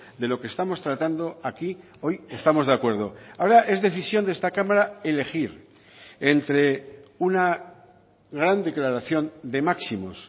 de lo que estamos tratando aquí hoy estamos de acuerdo ahora es decisión de esta cámara elegir entre una gran declaración de máximos